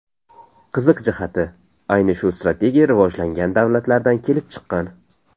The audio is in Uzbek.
Qiziq jihati, ayni shu strategiya rivojlangan davlatlardan kelib chiqqan.